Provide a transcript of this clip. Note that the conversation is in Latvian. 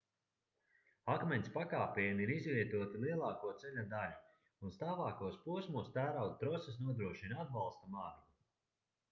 akmens pakāpieni ir izvietoti lielāko ceļa daļu un stāvākos posmos tērauda troses nodrošina atbalsta margu